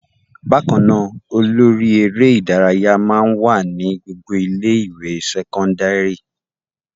Bákan náà, olórí eré-ìdárayá máa ń wà ní gbogbo ilé-ìwé sẹ́kọ́ndárì.